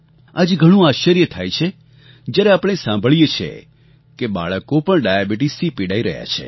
આજે ઘણું આશ્ચર્ય થાય છે જ્યારે આપણે સાંભળીએ છીએ કે બાળકો પણ ડાયાબિટીસથી પીડાઈ રહ્યાં છે